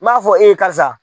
N m'a fɔ e ye karisa